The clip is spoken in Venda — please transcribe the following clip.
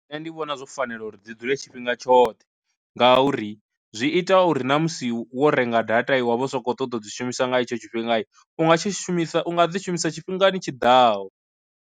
Nṋe ndi vhona zwo fanela uri dzi dzule tshifhinga tshoṱhe ngauri, zwi ita uri na musi wo renga data i wa vha u soko ṱoḓa u dzi shumisa nga hetsho tshifhinga u nga tshi shumisa unga dzi shumisa tshifhingani tshiḓaho.